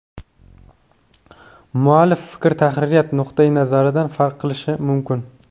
Muallif fikr tahririyat nuqtayi nazaridan farq qilishi mumkin.